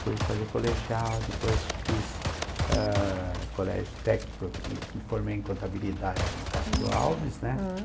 Fui fazer colegial, depois fiz ah... colégio técnico e me formei em contabilidade no Castro Alves, né?